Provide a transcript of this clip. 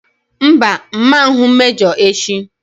Mba! M ma ahụ mejọ echi.